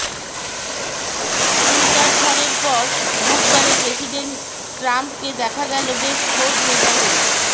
Twitter ঝড়ের পর বুধবারে প্রেসিডেন্ট ট্রাম্পকে দেখা গেল বেশ খোজ মেজাজেই